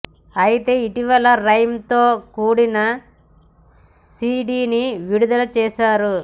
అయితే ఇటీవల ఈ రైమ్ తో కూడిన సీడీని విడుదల చేశారు